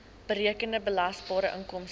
berekende belasbare inkomste